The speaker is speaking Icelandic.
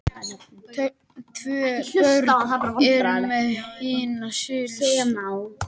Tvö börn eru meðal hinna slösuðu